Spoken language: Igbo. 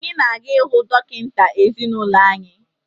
Anyị na-aga ịhụ dọkịta ezinụlọ anyị